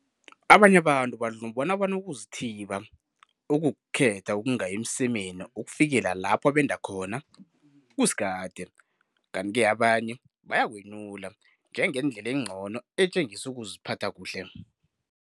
Abanye abantu badlumbana bona ukuzithiba, ukukhetha ukungayi emsemeni ukufikela lapho benda khona, kusikade, kanti-ke abanye bayakwenyula njengendlela engcono etjengisa ukuziphatha kuhle.